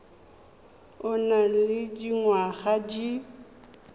o nang le dingwaga di